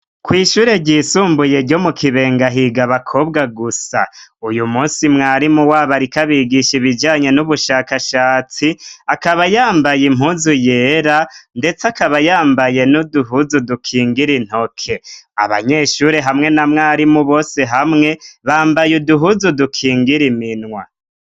Kw'ishure ryisumbuye ryo mu kibengahiga bakobwa gusa uyu musi mwarimu wa ba, ariko abigisha ibijanye n'ubushakashatsi akabayambaye impuzu yera, ndetse akabayambaye n'uduhuzu dukingira intoke abanyeshuri hamwe na mwarimu bose hamwe bambaye uduhuzu dukinge ngeremenwa.